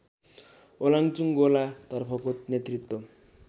ओलाङचुङगोला तर्फको नेतृत्व